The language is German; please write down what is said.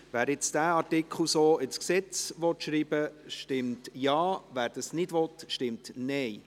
Wer diesen Artikel so ins Gesetz schreiben will, stimmt Ja, wer das nicht will, stimmt Nein.